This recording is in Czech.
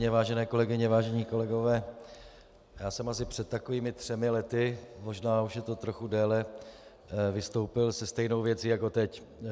Vážené kolegyně, vážení kolegové, já jsem asi před takovými třemi lety, možná už je to trochu déle, vystoupil se stejnou věcí jako teď.